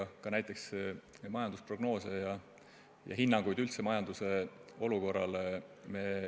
Me arutame näiteks majandusprognoose ja üldse hinnanguid majanduse olukorrale.